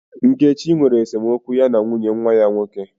Nkechi nwere esemokwu ya na nwunye nwa ya nwoke.